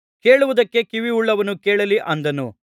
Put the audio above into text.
ಕೇಳುವುದಕ್ಕೆ ಕಿವಿಯುಳ್ಳವನು ಕೇಳಲಿ ಅಂದನು